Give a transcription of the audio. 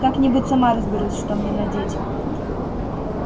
как-нибудь сама разберусь что мне надеть